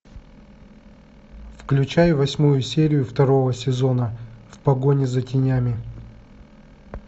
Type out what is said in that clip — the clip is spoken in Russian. включай восьмую серию второго сезона в погоне за тенями